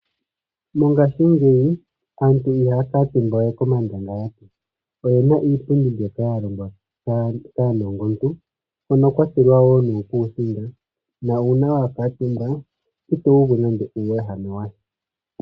Mongashingeyi aantu ihaya kuutumba we komandangalati. Oyena iipundi mbyoka ya longwa kaanongontu, hoka kwa tulwa wo nuukusinga na uuna wa kuutumba, ito uvu nando uuwehame washa.